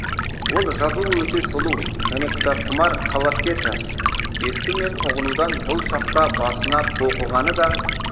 ол жазуы өте сұлу және кітапқұмар талапкер жас есту мен ұғынудан бұл шақта басына тоқығаны да